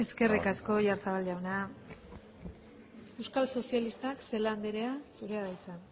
eskerrik asko oyarzabal jauna euskal sozialistak celaá andrea zurea da hitza